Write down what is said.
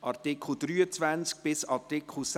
Art. 21 Abs. 2 / Art. 21,